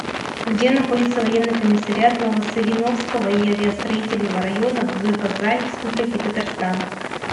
где находится военный комиссариат ново савиновского и авиастроительного районов г казань республики татарстан